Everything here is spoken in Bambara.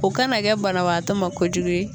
O kana kɛ banabaatɔ ma kojugu ye.